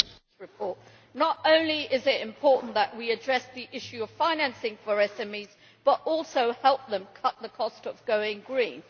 Madam President, not only is it important that we address the issue of financing for SMEs, but also that we help them cut the cost of going green.